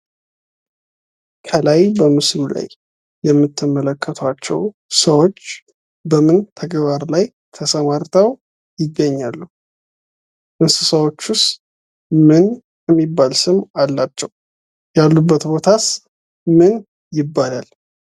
ከላይ በምስሉ ላይ የምትመለከቷቸው ሰዎች በምን ተግባር ላይ ተሰማርተው ይገኛሉ? እንስሳዎችስ ምን የሚባል ስም አላቸው? ያሉበት ቦታስ ምን ይባላል?